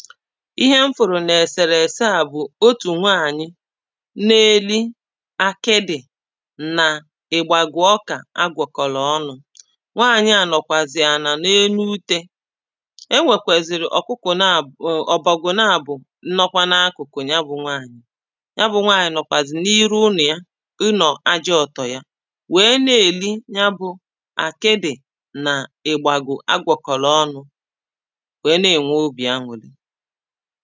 ihe m fụ̀rụ̀ n’èsèrèsè à bụ̀ otù ŋwaànyị̀ na-eli àkịdị̀ nà ị̀gbàgwụ̀ ọka a gwọ̀kọ̀rọ̀ ọnụ nwaanyị̀ à nọ̀kwaàzi ànị̀ n’enu utē e nwèkwèzìrì ọ̀kụkụ̀ naabọ̀ ọ̀bọ̀gwụ̀ naabọ̀ nọkwa n’akụ̀kụ̀ ya bụ nwaanyị̀ ya bụ nwaanyị nọ̀kwaàzị̀ n’iru u̩nọ̀ ya ụnọ̀ aja ọ̀tọ̀ ya wèe na-èli nya bụ̄ àkịdị nà ị̀gbàgwụ̀ a gwọ̀kọ̀rọ̀ ọnụ wee na-enwe obì aṅụrị̀